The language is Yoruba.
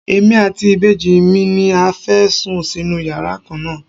Èmi àti ìbejì mi ni a fẹ́ sùn sínú yàrá kan náà.